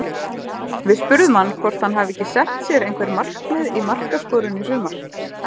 Við spurðum hann hvort hann hafi ekki sett sér einhver markmið í markaskorun í sumar?